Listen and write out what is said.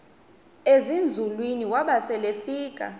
ezinzulwini waba selefika